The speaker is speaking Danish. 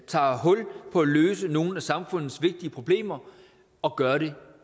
tager hul på at løse nogle af samfundets vigtige problemer og gør det